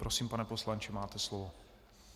Prosím, pane poslanče, máte slovo.